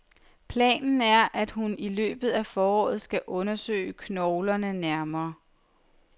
Planen er, at hun i løbet af foråret skal undersøge knoglerne nærmere.